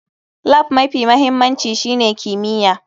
Lab mafi mahimmanci shine kimiyya.